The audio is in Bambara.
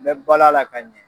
Mɛ balo a la ka ɲɛ.